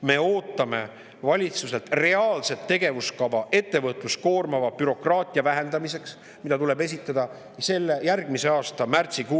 Me ootame valitsuselt ettevõtlust koormava bürokraatia vähendamiseks reaalset tegevuskava, mis tuleb esitada järgmise aasta märtsikuuks.